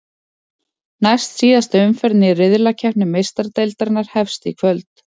Næstsíðasta umferðin í riðlakeppni Meistaradeildarinnar hefst í kvöld.